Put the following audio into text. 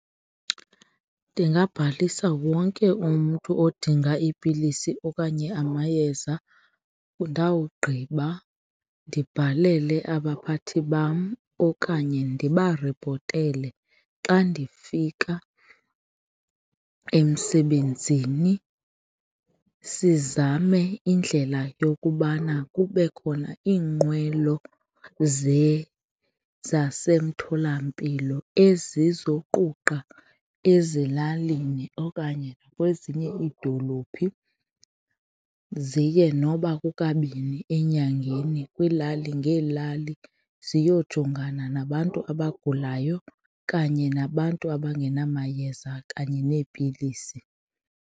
Ndingabhalisa wonke umntu odinga iipilisi okanye amayeza, ndawugqiba ndibhalele abaphathi bam okanye ndibaripotele xa ndifika emsebenzini. Sizame indlela yokubana kube khona iinqwelo zasemtholampilo ezizoquqa ezilalini okanye kwezinye iidolophi ziye noba kukabini enyangeni kwiilali ngeelali ziyojongana nabantu abagulayo kanye nabantu abangena mayeza kanye neepilisi.